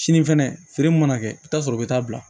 Sini fɛnɛ feere mun mana kɛ i bɛ taa sɔrɔ u bɛ taa bila